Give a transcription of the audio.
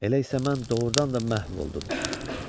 Elə isə mən doğurdan da məhv oldum.